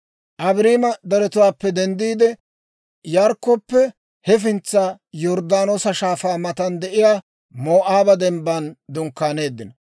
Abaarima deretuwaappe denddiide, Yarikkoppe hefintsana, Yorddaanoosa Shaafaa matan de'iyaa Moo'aaba Dembban dunkkaaneeddino.